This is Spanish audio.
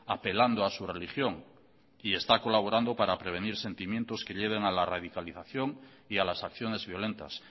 apelando a su religión y está colaborando para prevenir sentimientos que lleven a la radicalización y a las acciones violentas